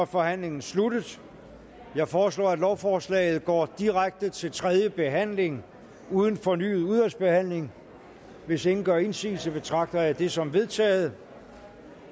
forhandlingen sluttet jeg foreslår at lovforslaget går direkte til tredje behandling uden fornyet udvalgsbehandling hvis ingen gør indsigelse betragter jeg det som vedtaget